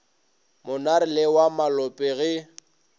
monare le wa malope ge